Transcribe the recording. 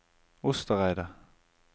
Ostereidet